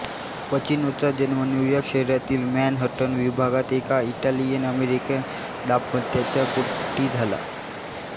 पचिनोचा जन्म न्यूयॉर्क शहरातील मॅनहटन विभागात एका इटालियनअमेरिकन दांपत्याच्या पोटी झाला